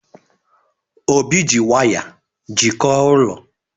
Obi ji waya jikọọ ụlọ.